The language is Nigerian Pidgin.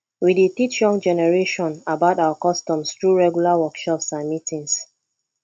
we dey teach younger generation about our customs through regular workshops and meetings